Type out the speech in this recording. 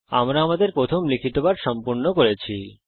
আমরা আমাদের প্রথম লিখিত পাঠ সম্পূর্ণ করেছি